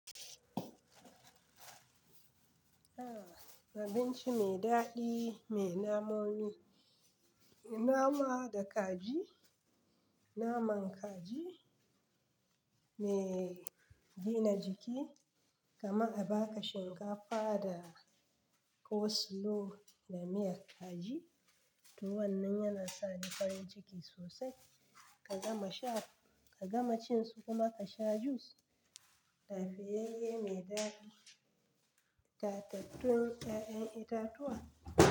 Abinci mai daɗi mai namomi, nama da kaji, naman kaji mai gina jiki. Kaman a baka shinkafa da coleslaw da miyar kaji. To wannan yana sa ni farin ciki sosai. Ka gama sha, ka gama cin su kuma ka sha jus. Lafiyayye mai daɗi. Tatattun 'ya'yan itatuwa.